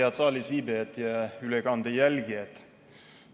Head saalis viibijad ja ülekande jälgijad!